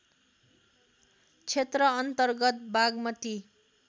क्षेत्र अन्तर्गत बागमती